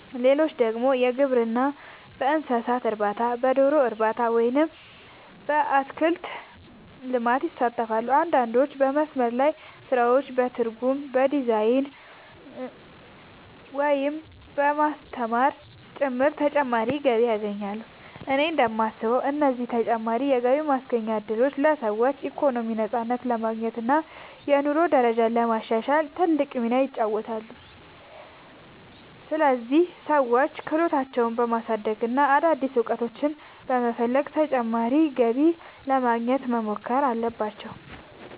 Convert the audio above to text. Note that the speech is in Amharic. ሌሎች ደግሞ በግብርና፣ በእንስሳት እርባታ፣ በዶሮ እርባታ ወይም በአትክልት ልማት ይሳተፋሉ። አንዳንዶች በመስመር ላይ ስራዎች፣ በትርጉም፣ በዲዛይን፣ ወይም በማስተማር ጭምር ተጨማሪ ገቢ ያገኛሉ። እኔ እንደማስበው እነዚህ ተጨማሪ የገቢ ማስገኛ እድሎች ለሰዎች ኢኮኖሚያዊ ነፃነት ለማግኘት እና የኑሮ ደረጃቸውን ለማሻሻል ትልቅ ሚና ይጫወታሉ። ስለዚህ ሰዎች ክህሎታቸውን በማሳደግ እና አዳዲስ ዕድሎችን በመፈለግ ተጨማሪ ገቢ ለማግኘት መሞከር አለባቸው።